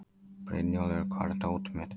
Brynjúlfur, hvar er dótið mitt?